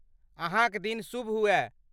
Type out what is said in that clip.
अहाँक दिन शुभ हुअए!